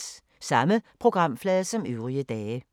Samme programflade som øvrige dage